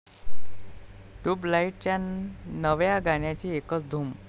ट्युबलाइट'च्या नव्या गाण्याची एकच धूम